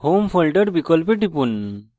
home folder বিকল্পে টিপুন